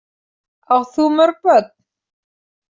Átt þú mörg börn?